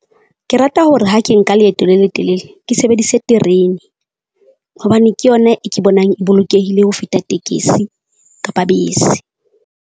Ke rata hore ha ke nka leeto le letelele, ke sebedise terene, hobane ke yona e ke bonang e bolokehile ho feta tekesi kapa bese.